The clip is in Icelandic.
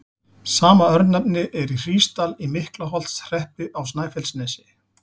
Sama örnefni er í Hrísdal í Miklaholtshreppi á Snæfellsnesi.